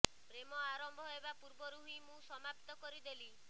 ପ୍ରେମ ଆରମ୍ଭ ହେବା ପୂର୍ବରୁ ହିଁ ମୁଁ ସମାପ୍ତ କରିଦେଲି